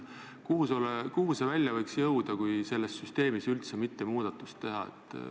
Kuhu see välja võiks jõuda, kui selles süsteemis üldse mitte muudatusi teha?